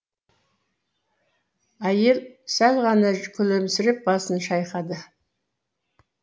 әйел сәл ғана күлімсіреп басын шайқады